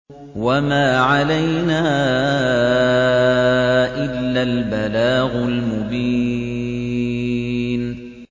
وَمَا عَلَيْنَا إِلَّا الْبَلَاغُ الْمُبِينُ